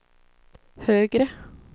högre